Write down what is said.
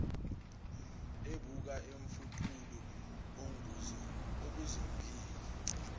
ebuka umfuqulu onguzongile